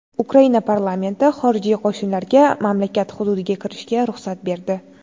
Ukraina parlamenti xorijiy qo‘shinlarga mamlakat hududiga kirishga ruxsat berdi.